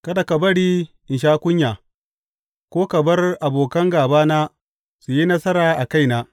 Kada ka bari in sha kunya, ko ka bar abokan gābana su yi nasara a kaina.